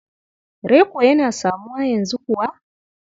Reko yana samuwa yanzu kuwa?